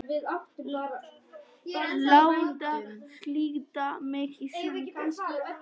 Láta slíta mig í sundur.